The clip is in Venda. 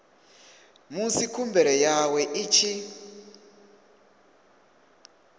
musi khumbelo yawe i tshi